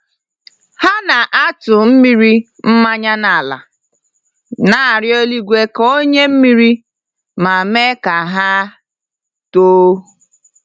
Ha na-atụmmiri mmañya n'ala, na-arịọ eluigwe ka o nye mmiri, ma mee ka ha too